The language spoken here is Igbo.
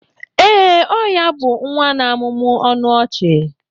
Ee, ọ ya bụ nwa na-amụmụ ọnụ ọchị.